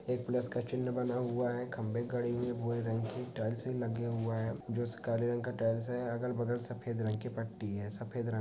एक प्लस का चिह्न बना हुआ है खंभे गड़े हुए भूरे रंग की टाइल्स भी लगे हुआ है जो काले रंग का टाइल्स हैं अगल-बगल सफेद रंग की पट्टी हैं सफेद रंग --